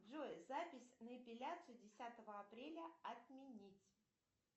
джой запись на эпиляцию десятого апреля отменить